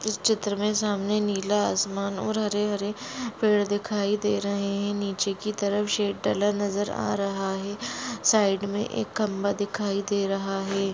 इस चित्र मे सामने नीला असमान और हरे हरे पेड दिखाई दे रहे है। नीचे कि तरफ शेड डला नजर आ रहा है। साइड मे एक खंबा दिखाई दे रहा है।